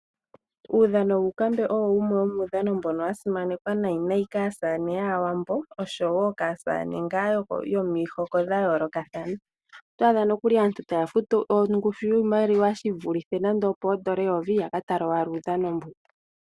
Uudhano woonkambe owo wumwe womuudhano mbono wasimanekwa nayi kaasamane yaawambo oshowo kaasamane ngaa yomihoko dha yoolokathana. Oto adha nokuli aantu taya futu ongushu yiimaliwa yivulithe nando opoodola eyovi yaka tale owala uudhono mbuka.